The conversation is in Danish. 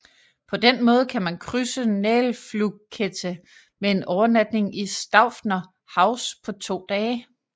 På den måde kan man krydse Nagelfluhkette med en overnatning i Staufner Haus på to dage